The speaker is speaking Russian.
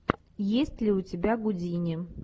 есть ли у тебя гудини